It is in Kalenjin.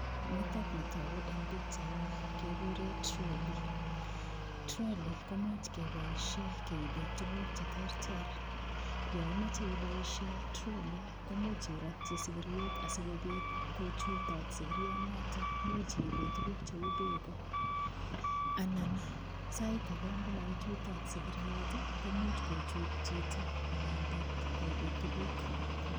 Nitokni toku eng' pikchaini kekure trolley trolley komuuch keboishe keibe tukuk cheterter yo imoche iboishe trolley komuuch irotyi sikiriet asikobit kochutot sikirionoto muuch iibe tukuk cheu beko anan sait age ngumaichutot sikiriet komuuch kochut chito inendet koibei tukuk